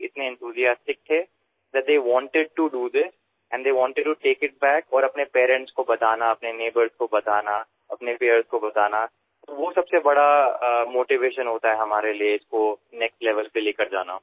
sir লৰাছোৱালীসমূহ ইমান উৎসাহিত হল যে তেওঁলোকে ইয়াক পুনৰাই কৰিবলৈ বিচাৰিলে আৰু নিজৰ অভিভাৱক নিজৰ ওচৰচুবুৰীয়াক সহপাঠীক এই বিষয়ে কোৱাত আমাৰ বাবে ইয়াক পৰৱৰ্তী পৰ্যায়লৈ লৈ যোৱাত সহায় হল